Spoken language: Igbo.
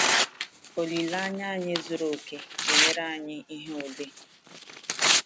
Olileanya anyị zuru oke na-enyere anyị ihu ule.